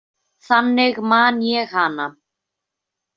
Þannig man ég hana.